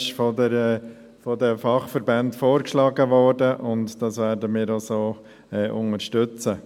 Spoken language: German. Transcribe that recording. Er wurde von den Fachverbänden vorgeschlagen, und das werden wir auch so unterstützen.